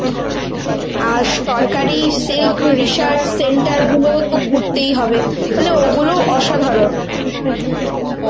আর সরকারী silk research center গুলো তো ঘুরতেই হবে মানে ওগুলো অসাধারণ.